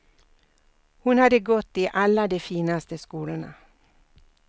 Hon hade gått i alla de finaste skolorna.